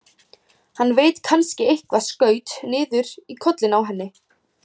Hann veit kannski eitthvað, skaut niður í kollinn á henni.